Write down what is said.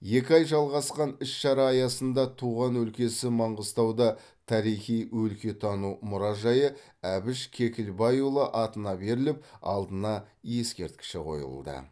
екі айға жалғасқан іс шара аясында туған өлкесі маңғыстауда тарихи өлкетану мұражайы әбіш кекілбайұлы атына беріліп алдына ескерткіші қойылды